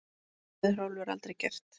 Það hefði Hrólfur aldrei gert.